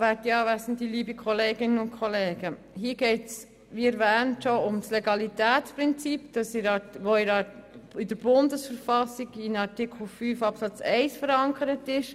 Hier geht es, wie bereits erwähnt, um das Legalitätsprinzip, das in der Bundesverfassung in Artikel 5, Absatz 1 verankert ist.